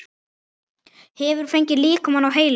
Hefurðu fengið líkamann á heilann?